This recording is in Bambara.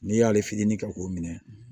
N'i y'ale fitinin kɛ k'o minɛ